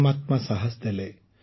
ପରମାତ୍ମା ସାହସ ଦେଲେ